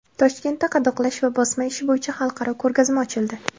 Toshkentda qadoqlash va bosma ishi bo‘yicha xalqaro ko‘rgazma ochildi.